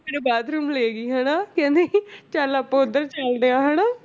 ਮੈਨੂੰ ਬਾਥਰੂਮ ਲੈ ਗਈ ਹਨਾ ਕਹਿੰਦੀ ਚੱਲ ਆਪਾਂ ਉੱਧਰ ਚੱਲਦੇ ਹਾਂ ਹਨਾ